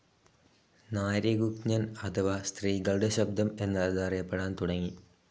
നാരി ഗുഞ്ജൻ അഥവ സ്ത്രീകളുടെ ശബ്ദം എന്നതറിയപ്പെടാൻ തുടങ്ങി.